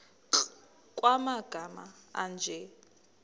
nkr kumagama anje